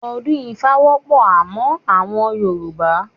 Odun Ifa wọpọ amon awọn Yoruba